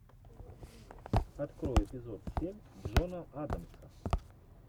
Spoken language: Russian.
открой эпизод семь джона адамса